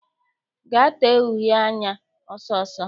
Gaa tee uhe anya ọsọ ọsọ!